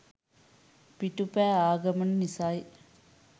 පිටු පෑ ආ ගමන නිසයි.